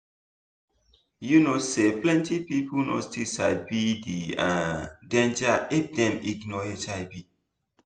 you know say plenty people no still sabi the um danger if dem ignore hiv